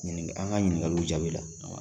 Ɲininka an ka ɲininkaliw jaabi la.